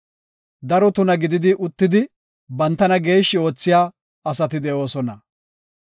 Daro tuna gidi uttidi bantana geeshshi oothiya asati de7oosona.